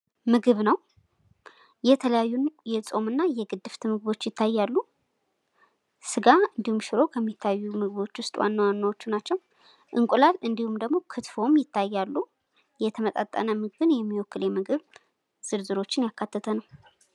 ምግብ ነው የተለያዩ የፆም እና የግድፍት ምግቦች ይታያሉ ስጋ እንዲሁም ሽሮ ከሚታዩን ምግቦች ዉስጥ ዋና ዋናዎቹ ናቸው:: እንቁላል እንዲሁም ክትፎም ይታያሉ:: የተመጣጠነ ምግብን የሚወክል የምግብ ዝርዝሮችን ያካተተ ነው::